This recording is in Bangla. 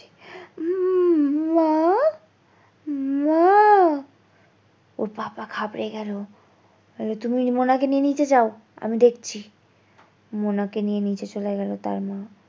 উম মা মা ওর বাবা ঘাবড়ে গেলো অরে তুমি মোনা কে নিয়ে নিচে যাও আমি দেখছি মোনা কে নিয়ে নিচে চলে গেলো তার মা।